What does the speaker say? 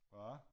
Hva?